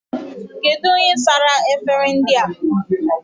Kedu onye sara efere ndị a?